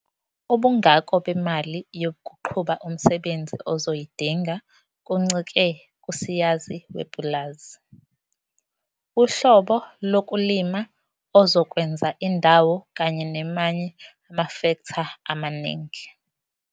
Ubungako bemali yokuqhuba umsebenzi ozoyidinga kuncike kusayizi wepulazi, uhlobo lokulima ozokwenza, indawo kanye nemanye amafektha amaningi.